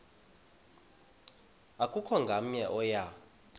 akukho namnye oya